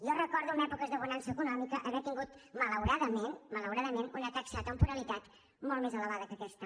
jo recordo en èpoques de bonança econòmica haver tingut malauradament malauradament una taxa de temporalitat molt més elevada que aquesta